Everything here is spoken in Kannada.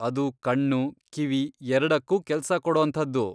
ಅದು ಕಣ್ಣು, ಕಿವಿ ಎರ್ಡಕ್ಕೂ ಕೆಲ್ಸ ಕೊಡೋಂಥದ್ದು.